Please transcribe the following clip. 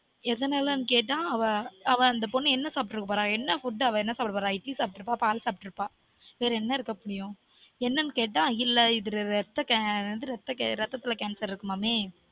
எதனாலனு கேட்டா அவ அந்த பொண்ணு என்ன சாப்ட போறா என்ன food அவ என்ன சாப்ட போறா இட்லி சாப்டுறப்பா பால் சாப்டுறுப்பா வேற என்ன இருக்க முடியும் என்னனு கேட்டா அது இல்ல இரத்தம் கேன் இரத்த இரத்ததுல cancer இருக்குமாமே